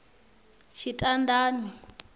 tshitandani